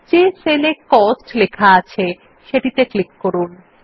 যে সেল এ কস্ট লিখিত আছে সেটিতে ক্লিক করুন